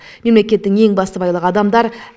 мемлекеттің ең басты байлығы адамдар